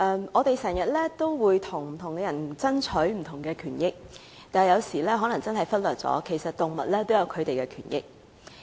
我們經常為不同人士爭取權益，但我們有時可能忽略了動物也有權益。